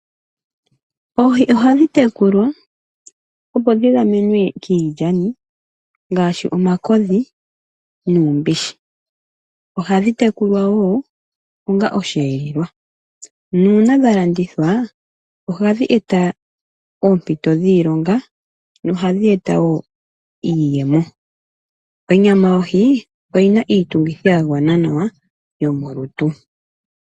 Oohi ohadhi tekulwa, opo dhi gamenwe kiilyani ngaashi omakodhi nuumbishi. Ohadhi tekulwa wo onga osheelelwa. Nuuna dha landithwa, ohadhi e ta oompito dhiilonga, nohadhi e ta wo iiyemo. Onyama yohi oyi na iitungitha ya gwana nawa yomolutu.